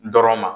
Dɔrɔn ma